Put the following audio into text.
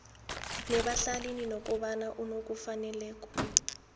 nebahlalini nokobana unokufaneleka